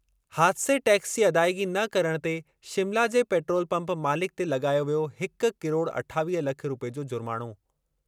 हादिसे tax जी अदाइगी न करणु ते शिमला जे पैट्रोल पंप मालिक ते लॻायो वियो हिक किरोड़ अठावीह लख रूपए जो जुर्माणो।